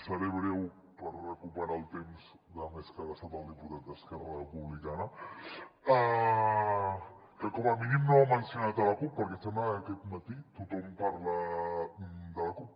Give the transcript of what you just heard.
seré breu per recuperar el temps de més que ha gastat el diputat d’esquerra republicana que com a mínim no ha mencionat la cup perquè sembla que aquest matí tothom parla de la cup